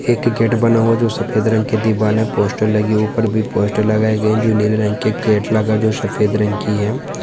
एक गेट बना हुआ जो सफेद रंग के दीवारे पोस्टर लगी ऊपर भी पोस्टर लगाए गए जो नीले रंग के का जो सफेद रंग की है।